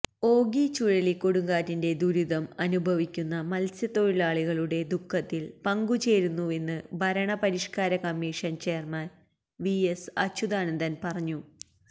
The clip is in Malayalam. ഓഖി ചുഴലിക്കൊടുങ്കാറ്റിന്റെ ദുരിതം അനുഭവിക്കുന്ന മത്സ്യത്തൊഴിലാളികളുടെ ദുഃഖത്തില് പങ്കു ചേരുന്നുവെന്ന് ഭരണപരിഷ്കാര commission chairman V S Achuthanandan പറഞ്ഞു